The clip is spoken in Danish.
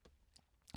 TV 2